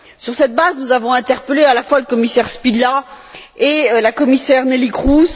Sur cette base, nous avons interpellé à la fois le commissaire Špidla et la commissaire Neelie Kroes.